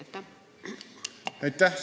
Aitäh!